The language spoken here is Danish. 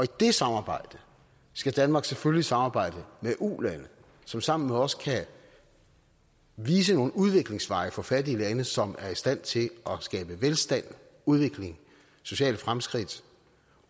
det samarbejde skal danmark selvfølgelig samarbejde med ulande som sammen med os kan vise nogle udviklingsveje for fattige lande som er i stand til at skabe velstand udvikling sociale fremskridt